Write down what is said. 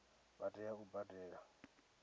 vha tea u i badela